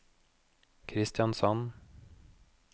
Kristiansand